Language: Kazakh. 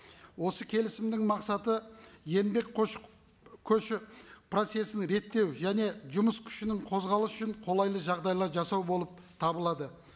осы келісімнің мақсаты еңбек көші көші процессін реттеу және жұмыс күшінің қозғалысы үшін қолайлы жағдайлар жасау болып табылады